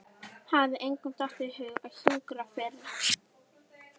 Hafði engum dottið í hug að hjúkra fyrr?